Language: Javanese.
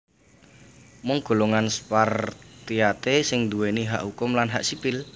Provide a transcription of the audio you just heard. Mung golongan Spartiate sing nduwèni hak hukum lan hak sipil